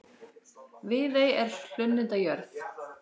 Viðey er hlunnindajörð.